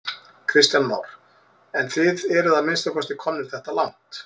Kristján Már: En þið eruð að minnsta kosti komnir þetta langt?